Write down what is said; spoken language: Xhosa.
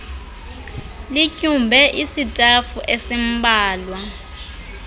lityumbe isitafu esimbalwa